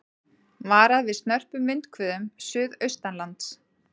Varað við snörpum vindhviðum suðaustanlands